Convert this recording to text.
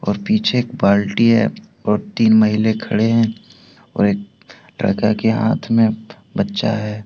और पीछे एक बाल्टी है और तीन महिले खड़े हैं और एक लड़का के हाथ में बच्चा है।